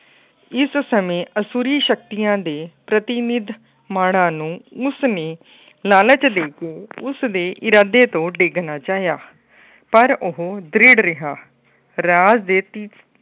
ਇਸ ਸਮੇਂ ਅਸੁਰੀ ਸ਼ਕਤੀਆਂ ਦੇ ਪ੍ਰਤੀਨਿਧ ਮਾਣਾਂ ਨੂੰ ਮੁਸਮੀ ਲਾਲਚ ਦੇ ਕੇ ਉਸਦੇ ਇਰਾਦੇ ਤੋਂ ਡੇਗਣਾ ਚਾਹਿਆ । ਪਰ ਉਹ ਦ੍ਰਿੜ ਰਿਹਾ। ਰਾਜ ਦੇ ਤੀ